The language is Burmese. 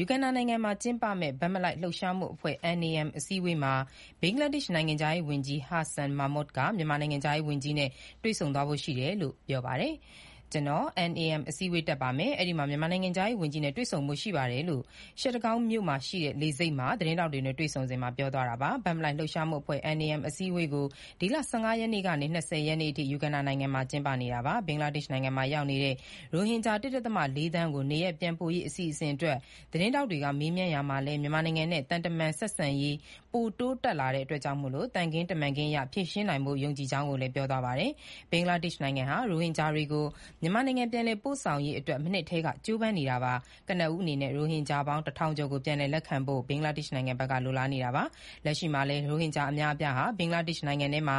ယူဂန်ဒါနိုင်ငံမှာ ကျင်းပနေတဲ့ ဘက်မလိုက်လှုပ်ရှားမှုအဖွဲ့ အစည်းအဝေးမှာ ဘင်္ဂလားဒေ့ရှ် နိုင်ငံခြားရေး ဝန်ကြီး ဟာဆန် မာမွတ် က မြန်မာနိုင်ငံခြားရေးဝန်ကြီးနဲ့ တွေ့ဆုံသွားဖို့ ရှိတယ်လို့ ပြောပါတယ်။ “ကျွန်တော် NAM အစည်းအဝေးတက်ပါမယ်၊ အဲ့ဒီမှာ မြန်မာနိုင်ငံခြားရေး ဝန်ကြီးနဲ့ တွေ့ဖို့ ရှိပါတယ်။” လို့ Chattogramr မြို့ Shah Amanat International လေဆိပ်မှာ သတင်းထောက်တွေနဲ့ တွေ့ဆုံစဉ် ပြောသွားတာပါ။ ဘက်မလိုက်လှုပ်ရှားမှုအဖွဲ့ အစည်းအဝေးကို ဒီလ ၁၅ ရက်ကနေ ၂၀ ရက်နေ့အထိ ယူဂန်ဒါနိုင်ငံမှာ ကျင်းပနေတာပါ။ ဘင်္ဂလားဒေ့ရှ်နိုင်ငံမှာ ရောက်နေတဲ့ ရိုဟင်ဂျာ ၁.၄ သန်းကို နေရပ်ပြန်ပို့ရေး အစီအစဉ်အတွက် သတင်းထောက်တွေက မေးမြန်းရာမှာလည်း မြန်မာနိုင်ငံနဲ့ သံတမန်ဆက်ဆံရေး ပိုတိုးတက်လာတဲ့ အတွက် သံခင်းတမတ်ခင်းအရ ဖြေရှင်းနိုင်ဖို့ ယုံကြည်ကြောင်းကို ပြောသွားပါတယ်။ ဘင်္ဂလားဒေ့ရှ်နိုင်ငံဟာ ရိုဟင်ဂျာတွေကို မြန်မာနိုင်ငံပြန်လည်ပို့ဆောင်ရေးအတွက် မနှစ်ထဲက ကြိုးပမ်းနေတာပါ။ ကနဦးအနေနဲ့ ရိုဟင်ဂျာပေါင်း ၁ ထောင်ကျော်ကို ပြန်လည်လက်ခံဖို့ ဘင်္ဂလားဒေ့ရှ်နိုင်ငံဘက်က လိုလားနေတာပါ။ လက်ရှိမှာလည်း ရိုဟင်ဂျာအများအပြားဟာ ဘင်္ဂလားဒေ့ရှ်နိုင်ငံထဲမှာ